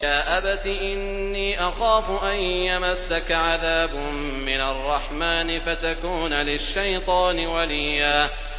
يَا أَبَتِ إِنِّي أَخَافُ أَن يَمَسَّكَ عَذَابٌ مِّنَ الرَّحْمَٰنِ فَتَكُونَ لِلشَّيْطَانِ وَلِيًّا